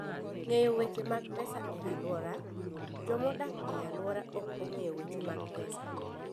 Ng'eyo Weche mag Pesa e Alwora: Joma odak e alworano ok ong'eyo weche mag pesa.